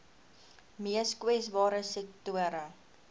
mees kwesbare sektore